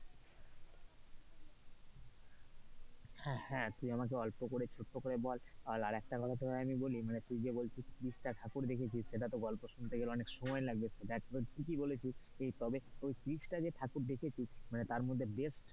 হ্যাঁ হ্যাঁ তুই আমাকে ছোট্ট করে বল আর একটা কথা তোকে আমি বলি তুই যে বলছিস তিরিশটা ঠাকুর দেখেছিস সেটা তো গল্প শুনতে গেলে অনেকটা সময় লাগবে that was ঠিকই বলেছিস তবে ওই তিরিশটা যে ঠাকুর দেখেছিস মানে তারমধ্যে যে best.